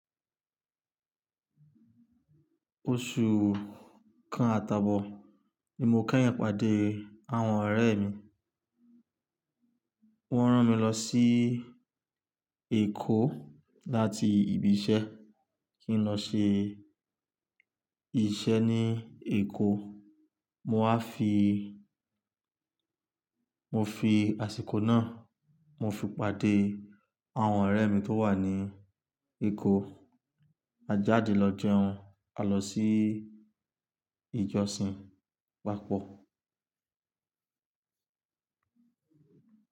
Oṣù kan àtàbọ̀ ni mo keyin pàdé àwọn ọ̀rẹ́ mi, wọ́n rán mi lọ sí Èkó láti ibi iṣẹ́ kí n lọ ṣe iṣẹ́ ní Èkó. Mo á fi, mo fi àsìkò náà, mo fi pàdé àwọn ọ̀rẹ́ mi tó wà ní Èkó. A jáde lọ jẹun, a lọ sí ìjọsìn papọ̀